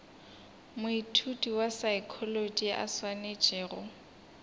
moithuti wa saekholotši a swanetšego